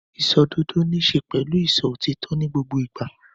Ìṣòdodo níṣe pẹ̀lú sísọ òtítọ́ ní gbogbo ìgbà.